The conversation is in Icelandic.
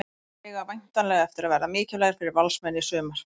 Þeir eiga væntanlega eftir að verða mikilvægir fyrir Valsmenn í sumar.